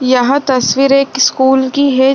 यहाँ तस्वीर एक स्कूल की है।